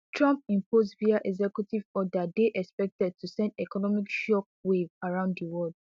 trump impose via executive order dey expected to send economic shockwaves around di world